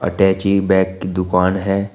अटैची bag की दुकान है।